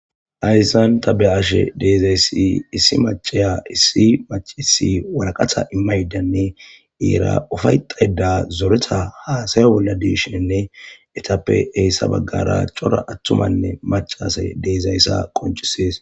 Ayssan ta beashe deezayssi issi macaya issi macisi walaqatha immaydanne eera ufayxayda zoretha haasayo bolla deeshienne etappe heyssa baggara cora attumanne macasay deezayssa qoncisees.